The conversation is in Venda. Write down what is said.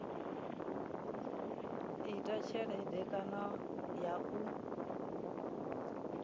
ita tshelede kana ya u